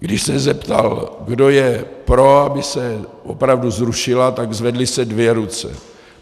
Když se zeptal, kdo je pro, aby se opravdu zrušila, tak se zvedly dvě ruce.